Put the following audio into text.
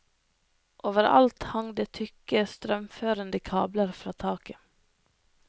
Over alt hang det tykke strømførende kabler fra taket.